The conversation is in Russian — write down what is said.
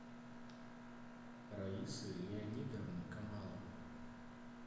раисы леонидовны камаловой